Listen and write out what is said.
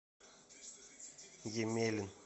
емелин